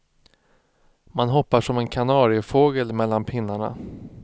Man hoppar som en kanariefågel mellan pinnarna.